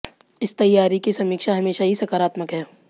इस तैयारी की समीक्षा हमेशा ही सकारात्मक है